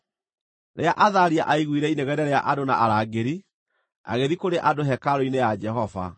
Rĩrĩa Athalia aaiguire inegene rĩa andũ na arangĩri, agĩthiĩ kũrĩ andũ hekarũ-inĩ ya Jehova.